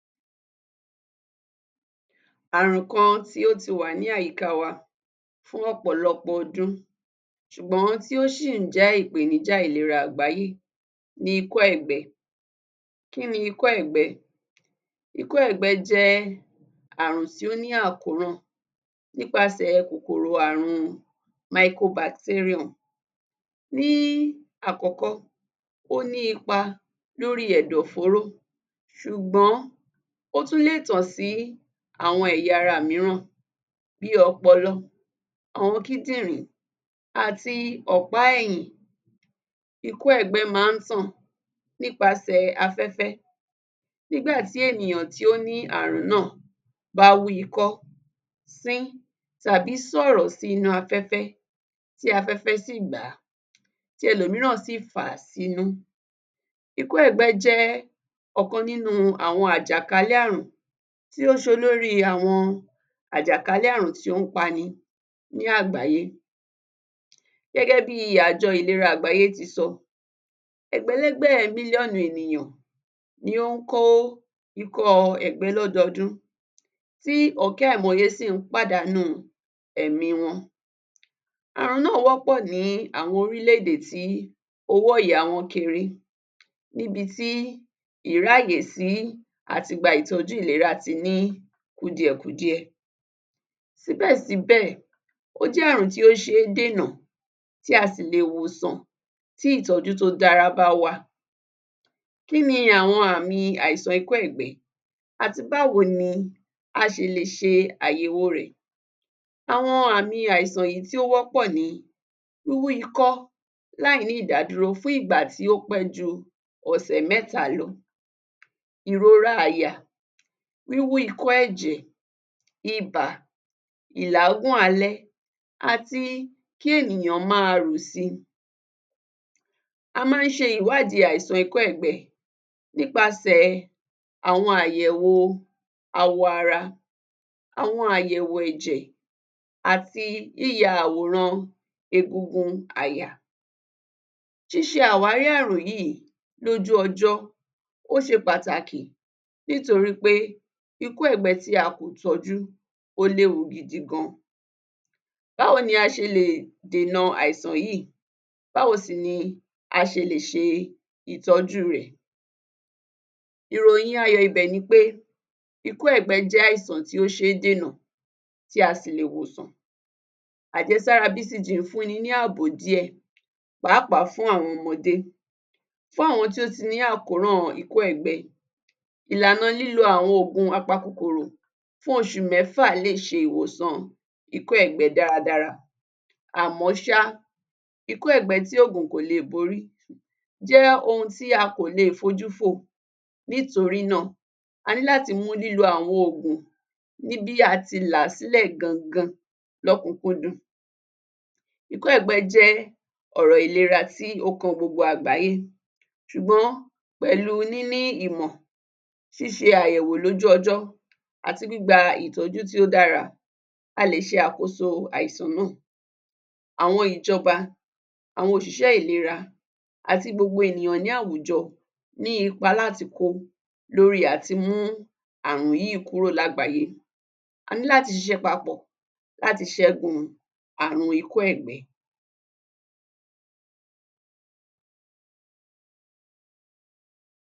Ààrùn kan tí ó ti wà ní àyíká wa fún ọ̀pọ̀lọpọ̀ ọdún ṣùgbọ́n tí ó ṣì ń jẹ́ ìpènijà ìlera àgbáyé ni Ikọ́-Ẹ̀gbẹ. Kí ni Ikọ́-ẹ̀gbẹ? Ikọ́-ẹ̀gbẹ jẹ́ ààrùn tí ó ní àkóràn nípasẹ̀ kòkòrò àrùn micro-bacterium ní àkọ́kọ́ ó ní ipa lórí ẹ̀dọ̀-fóró ṣùgbọ́n ó tún lè tàn sí àwọn ẹ̀yà ara mìíràn bí i ọpọlọ, àwọn kíndìnrín àti ọ̀pá ẹ̀yìn. Ikọ́-ẹ̀gbẹ máa ń tàn nípasẹ̀ afẹ́fẹ́ nígbà tí ènìyàn tí ó ní ààrùn náà bá wú ikọ́, sín tàbí sọ̀rọ̀ sí inú afẹ́fẹ́ tí afẹ́fẹ́ sì gbà á tí ẹlòmíràn sì fà á sí inú. Ikọ́-ẹ̀gbẹ jẹ́ ọ̀kan nínú àjàkálẹ̀ àrùn tó ń ṣe olórí àwọn àjàkálẹ̀ àrùn tó ń pani ní àgbáyé. Gẹ́gẹ́ bí i àjọ ìlera àgbáyé ti sọ, Ẹgbẹ̀lẹ́gbẹ̀ mílíọ̀nù ènìyàn ni ó ń kó ikọ́-ẹ̀gbẹ lọ́dọọdún, tí ọ̀kẹ́ àìmọye sì ń pàdánù ẹ̀mí wọn. Àrùn náà wọ́pọ̀ ní àwọn orílẹ̀ èdè tí owó ẹ̀yà wọn kéré níbi tí ìráyè sí àti gba ìtọ́jú ìlera ti ní àwọn kùdìẹ-kudiẹ. Síbẹ̀ síbẹ̀ ó jẹ́ àrùn tí ó ṣe é dènà tí a sì lè wòsàn tí ìtọ́jú tó dára bá wá. Kí ni àwọn àmì àìsàn ikọ́-ẹ̀gbẹ àti báwo ni a ṣe lè ṣe àyẹ̀wò rẹ̀? Àwọn àmì àìsàn tó wọ́pọ̀ ní wíwú ikọ́ láì ní ìdádúró fún ìgbà tí ó pẹ́ ju ọ̀sẹ̀ mẹ́ta lọ, ìrora àyà, wíwú ikọ́-ẹ̀jẹ̀, ibà, ìláágùn alẹ́ àti kí ènìyàn máa rù si. A máa ń ṣe ìwádìí àìsàn ikọ́-ẹ̀gbẹ nípasẹ̀ àwọn àyẹ̀wò awọ ara, àyẹ̀wò ẹ̀jẹ̀ àti yíyẹ àwòrán egungun àyà. Ṣíṣe àwárí àrùn yìí lójú ọjọ́ ó ṣe pàtàkì nítorí pé ikọ́-ẹ̀gbẹ tí a kò tọ́jú ó léwu gidi gan. Báwo ni a ṣe lè dènà àìsàn yìí, báwo sì ni a ṣe lè ṣe ìtọ́jú rẹ̀. Ìròyìn ayọ̀ ibẹ̀ nipé ikọ́ ẹ̀gbẹ jẹ́ àìsàn tí a lè dènà tí a sì lè wòsàn. Àjẹsára BCG ń fún ni ní àbọ̀ díẹ̀ pàápàá fún àwọn ọmọdé fún àwọn tó ti ní àkóràn ikọ́-ẹ̀gbẹ, ìlànà lílo àwọn oògùn apakòkòrò fún oṣù mẹ́fà lè ṣe ìwòsàn ikọ́-ẹ̀gbẹ dáradára àmọ́ ṣá, ikọ́-ẹ̀gbẹ tí oògùn kò le borí jẹ́ ohun tí a kò le fojú fò nítorí náà á ní láti mú lílo àwọn oògùn ní bí a ti là á sílẹ̀ gangan lókùn-ún-kúndùn. Ikọ́-ẹ̀gbẹ jẹ́ ọ̀rọ̀ ìlera tí ó kan gbogbo àgbáyé ṣùgbọ́n pẹ̀lú níní ìmọ̀, ṣíṣe àyẹ̀wò lójú ọjọ́ àti gbígba ìtọ́jú tí ó dára a lè ṣe àkóso àìsàn náà. Àwọn Ìjọba, àwọn òṣìṣẹ́ ìlera àti gbogbo ènìyàn ní àwùjọ ní ipa láti kó lórí àtimú àrùn yìí kúrò lágbàáyé, a ní láti ṣiṣẹ́ papọ̀ láti ṣẹ́gun àrùn ikọ́ ẹ̀gbẹ.